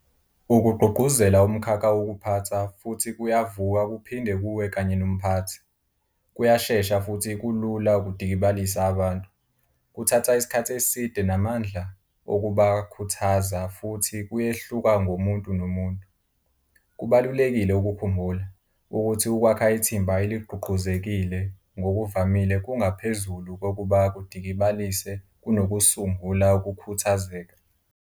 Ukugqugquzela umkhakha wokuphatha futhi kuyavuka kuphinde kuwe kanye nomphathi. Kuyashesha futhi kulula ukudikibalisa abantu, kuthatha isikhathi eside namandla okubakhuthaza futhi kuyehluka ngomuntu nomuntu. Kubalulekile ukukhumbula, ukuthi ukwakha ithimba eligqugquzekile ngokuvamile kungaphezulu kokuba kudikibalise kunokusungula ukukhuthazeka.